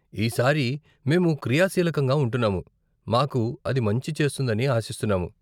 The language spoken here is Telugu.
ఈ సారి, మేము క్రియాశీలకంగా ఉంటున్నాము, మాకు అది మంచి చేస్తుందని ఆశిస్తున్నాను.